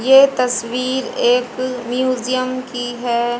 ये तस्वीर एक म्यूजियम की है।